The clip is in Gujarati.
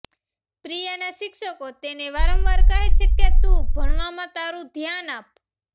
પ્રિયાનાં શિક્ષકો તેને વારંવાર કહે છે કે તું ભણવામાં તારૂ ધ્યાન આપ